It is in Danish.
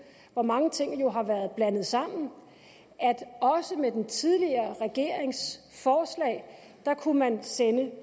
hvor mange ting jo har været blandet sammen at også med den tidligere regerings forslag kunne man sende